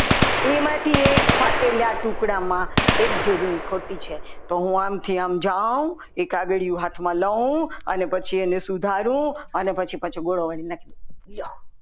એમાંથી એક ફાટેલા ટુકડામાં એક જોડણી ખોટી છે તો હું આમથી આમ જાવ એક કાગળિયું હાથમાં લવ અને પછી એને સુધારવું અને પછી પાછું ઘોડો વાળીને નાખી દઉં લ્યો